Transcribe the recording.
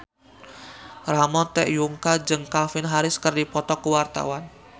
Ramon T. Yungka jeung Calvin Harris keur dipoto ku wartawan